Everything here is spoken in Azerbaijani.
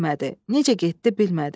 Necə getdi bilmədi.